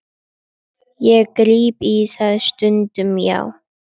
Ég gríp í það stundum, já.